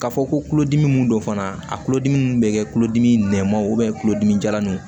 K'a fɔ ko kulodimi mun don fana a tulodimi bɛ kɛ tulodimi nɛmaw kulodimi jalaninw